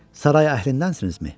Saray əhlindənsinizmi?